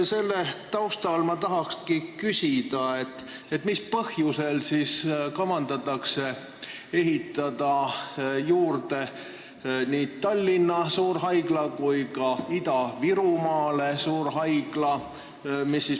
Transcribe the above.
Selle taustal ma tahangi küsida: mis põhjusel ikkagi on kavas ehitada juurde nii Tallinna suurhaigla kui ka Ida-Virumaa suurhaigla?